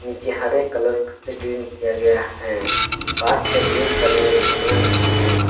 जे हरे कलर से ग्रीन किया गया है पास पर जिम करने वाला सामान भी है।